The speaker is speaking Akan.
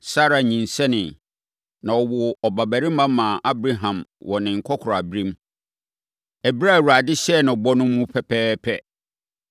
Sara nyinsɛneeɛ, na ɔwoo ɔbabarima maa Abraham wɔ ne nkɔkoraaberɛm, ɛberɛ a Awurade hyɛɛ no bɔ no mu pɛpɛɛpɛ.